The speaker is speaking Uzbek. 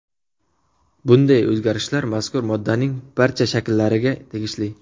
Bunday o‘zgarishlar mazkur moddaning barcha shakllariga tegishli.